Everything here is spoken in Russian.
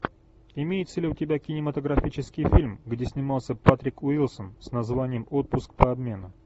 имеется ли у тебя кинематографический фильм где снимался патрик уилсон с названием отпуск по обмену